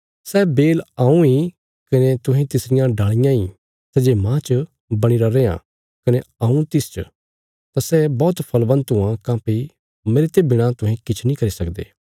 सै बेल हऊँ इ कने तुहें तिसरियां डाल़ियां इ सै जे मांह च बणीरा रैआं कने हऊँ तिसच तां सै बौहत फल़वन्त हुआं काँह्भई मेरते बिणा तुहें किछ नीं करी सकदे